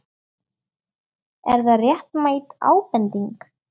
Er það réttmæt ábending?